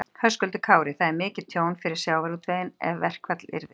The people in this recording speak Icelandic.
Höskuldur Kári: Það er mikið tjón fyrir sjávarútveginn ef að verkfall yrði?